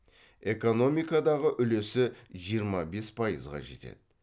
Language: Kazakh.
экономикадағы үлесі жиырма бес пайызға жетеді